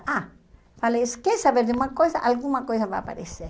Ah, falei, es quer saber de uma coisa, alguma coisa vai aparecer.